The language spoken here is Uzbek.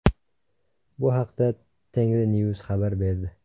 Bu haqda Tengrinews xabar berdi.